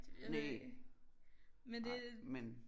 Næ nej men